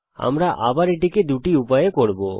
আমরা আবার এটিকে দুটি উপায়ে করব